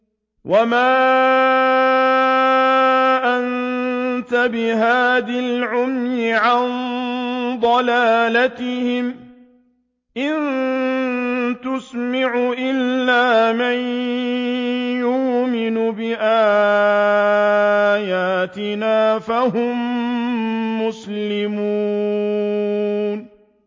وَمَا أَنتَ بِهَادِ الْعُمْيِ عَن ضَلَالَتِهِمْ ۖ إِن تُسْمِعُ إِلَّا مَن يُؤْمِنُ بِآيَاتِنَا فَهُم مُّسْلِمُونَ